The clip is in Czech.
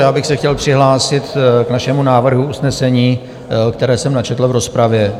Já bych se chtěl přihlásit k našemu návrhu usnesení, které jsem načetl v rozpravě.